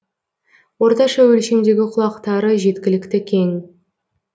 орташа өлшемдегі құлақтары жеткілікті кең